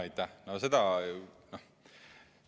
Aitäh!